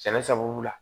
Sɛnɛ sababu la